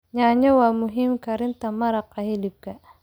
Yaanyo waa muhiim karinta maraq hilibka.